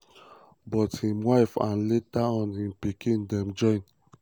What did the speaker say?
but im wife and later on im pikin dem join.